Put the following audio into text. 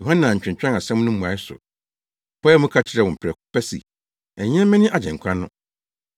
Yohane antwentwɛn asɛm no mmuae so. Ɔpaee mu ka kyerɛɛ wɔn prɛko pɛ se, “Ɛnyɛ me ne Agyenkwa no.”